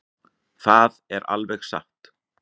Það er alveg satt.